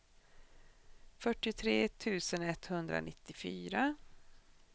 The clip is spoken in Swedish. fyrtiotre tusen etthundranittiofyra